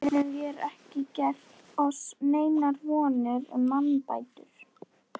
Fyrr getum vér ekki gert oss neinar vonir um mannbætur.